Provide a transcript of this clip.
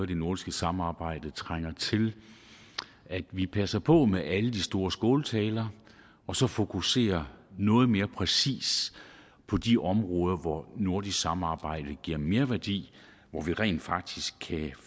det nordiske samarbejde trænger til at vi passer på med alle de store skåltaler og så fokuserer noget mere præcist på de områder hvor nordisk samarbejde giver merværdi og vi rent faktisk kan